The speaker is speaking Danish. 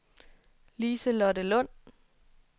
Lise-Lotte Lund